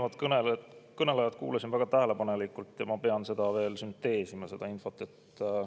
Ma kuulasin eelnevat kõnelejat väga tähelepanelikult ja ma pean veel sünteesima seda infot.